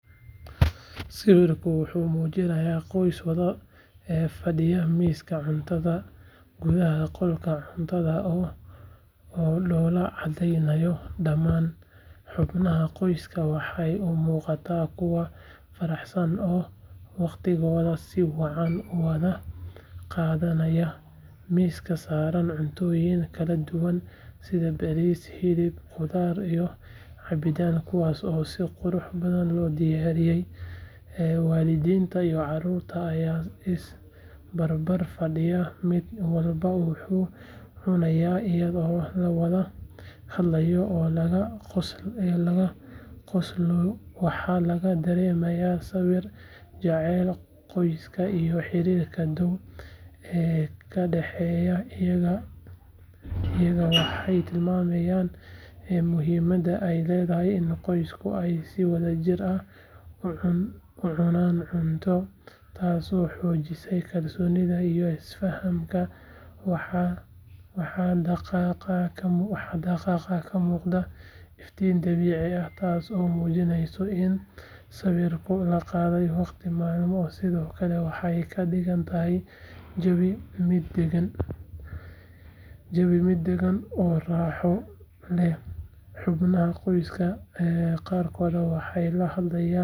Sawirkan wuxuu muujinayaa qoys wada fadhiya miiska cuntada gudaha qolka cuntada oo dhoola caddeynaya dhamaan xubnaha qoyska waxay u muuqdaan kuwo faraxsan oo waqtigooda si wacan u wada qaadanayawaxaa miiska saaran cuntooyin kala duwan sida bariis, hilib, khudaar iyo cabitaanno kuwaas oo si qurux badan loo diyaariyaywaalidiinta iyo carruurta ayaa is barbar fadhiya mid walbana wuxuu cunayaa iyadoo la wada hadlaya oo laga qoslayowaxa laga dareemayaa sawirka jacaylka qoyska iyo xiriirka dhow ee ka dhexeeya iyagawaxay tilmaamaysaa muhiimadda ay leedahay in qoyska ay si wadajir ah u cunaan cunto taasoo xoojisa kalsoonida iyo isfahamkawaxaa daaqadda ka muuqda iftiin dabiici ah taasoo muujinaysa in sawirkan la qaaday waqti maalinnimo sidoo kale waxay ka dhigaysaa jawiga mid deggan oo raaxo lehxubnaha qoyska qaarkood waxay la hadlayaan midba.